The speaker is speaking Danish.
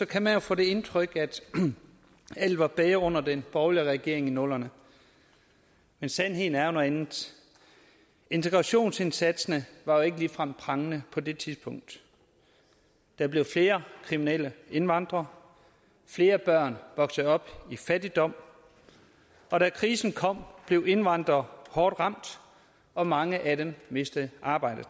kan man jo få det indtryk at alt var bedre under den borgerlige regering i nullerne men sandheden er jo noget andet integrationsindsatsen var ikke ligefrem prangende på det tidspunkt der blev flere kriminelle indvandrere flere børn voksede op i fattigdom og da krisen kom blev indvandrere hårdt ramt og mange af dem mistede arbejdet